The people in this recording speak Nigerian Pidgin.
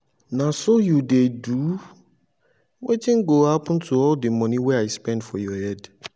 na so you dey do? wetin go happen to all the money wey i spend for your head